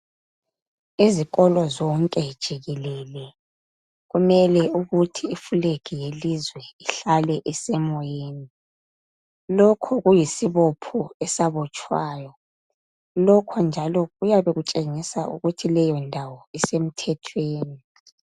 Ezikolo zonke jikelele kumele ukuthi iflegi yelizwe ihlale isemoyeni. Lokhu kuyisibopho esabotshwayo. Lokho njalo kuyabe kutshengisa ukuthi leyo ndawo isemthethweni.